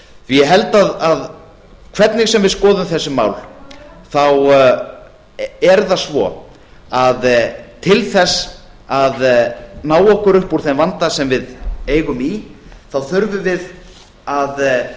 ég held að hvernig sem við skoðum þessi mál þá er það svo að til þess að ná okkur upp úr þeim vanda sem við eigum í þá þurfum við að